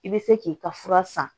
I bɛ se k'i ka fura san